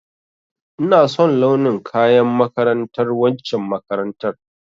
Ina son launin kayan makarantar waccen makarantar